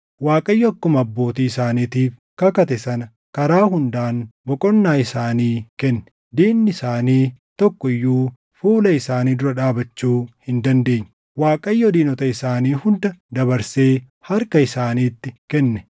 Waaqayyo akkuma abbootii isaaniitiif kakate sana karaa hundaan boqonnaa isaanii kenne. Diinni isaanii tokko iyyuu fuula isaanii dura dhaabachuu hin dandeenye; Waaqayyo diinota isaanii hunda dabarsee harka isaaniitti kenne.